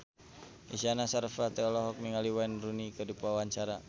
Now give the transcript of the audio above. Isyana Sarasvati olohok ningali Wayne Rooney keur diwawancara